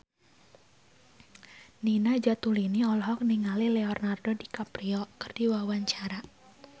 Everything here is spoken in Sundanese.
Nina Zatulini olohok ningali Leonardo DiCaprio keur diwawancara